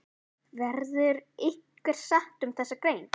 Verður einhver sátt um þessa grein?